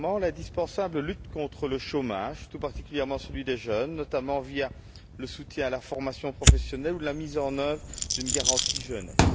Premièrement, l'indispensable lutte contre le chômage, tout particulièrement celui des jeunes, notamment via le soutien à la formation professionnelle ou la mise en œuvre d'une garantie Jeunesse.